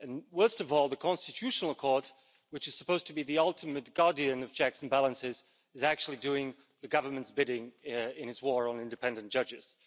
Worst of all, the Constitutional Court, which is supposed to be the ultimate guardian of checks and balances, is actually doing the Government's bidding in its war on independent judges.